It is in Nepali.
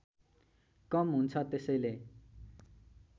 कम हुन्छ त्यसैले